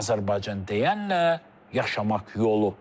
Azərbaycan deyənlə yaşamaq yolu.